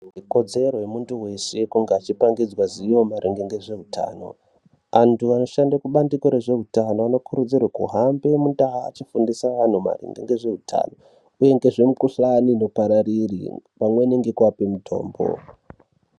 Ikodzero yemuntu weshe kunge eipangidzwa zivo maringe nezveutano. Antu anoshande kubandiko rezveutano anokurudzirwe kuhambe mundau echiifundise antu maringe nezveutano, uye ngezvemikuhlane inopararira pamwe nekuvape mitombo.